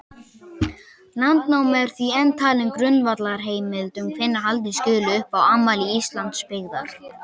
Landnáma er því enn talin grundvallarheimild um hvenær halda skuli upp á afmæli Íslandsbyggðar.